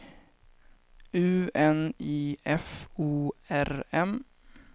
U N I F O R M